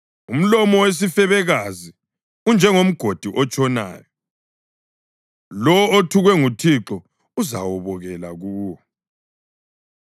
Umlomo wesifebekazi unjengomgodi otshonayo; lowo othukwe nguThixo uzawobokela kuwo.